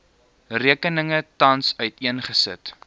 rekeninge tans uiteengesit